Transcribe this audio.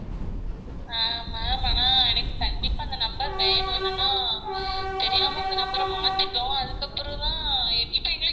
ஆஹ் ma'am ஆனா எனக்கு கண்டிப்பா அந்த number வேணும் எனென்னா தெரியாம அந்த number அ மாத்திட்டோம் அதுக்கு அப்ரோ தான் இப்போ எங்களுக்கு